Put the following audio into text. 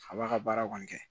A b'a ka baara kɔni kɛ